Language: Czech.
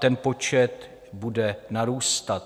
Ten počet bude narůstat.